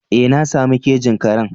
Ee na sami kejin karen.